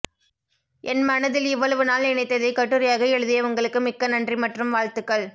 என் மனதில் இவ்வளவு நாள் நினைத்ததை கட்டுரையாக எழுதிய உங்களுக்கு மிக்க நன்றி மற்றும் வாழ்த்துக்கள்